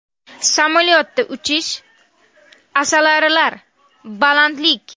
Samolyotda uchish, asalarilar, balandlik.